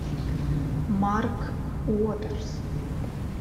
марк уотерс